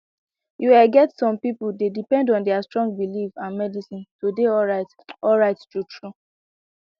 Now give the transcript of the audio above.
you ehh get some people dey depend on their strong belief and medicine to dey alright alright truetrue